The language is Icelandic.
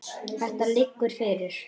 Þetta liggur fyrir.